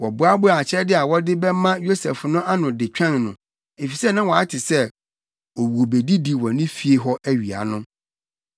Wɔboaboaa akyɛde a wɔde bɛma Yosef no ano de twɛn no, efisɛ na wɔate sɛ wobedidi wɔ fie hɔ awia no.